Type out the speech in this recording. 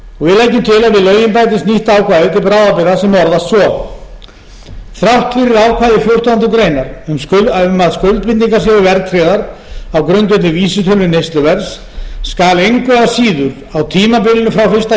við lögin bætist nýtt ákvæði til bráðabirgða sem orðast svo þrátt fyrir ákvæði fjórtándu greinar um að skuldbindingar séu verðtryggðar á grundvelli vísitölu neysluverðs skal engu að síður á tímabilinu frá fyrsta